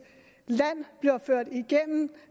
land gennem